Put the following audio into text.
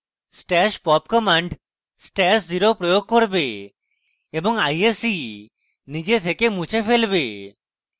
stash pop command stash @{0} প্রয়োগ করবে এবং ise নিজে থেকে মুছে ফেলবে